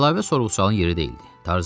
Əlavə sorğu-sualın yeri deyildi.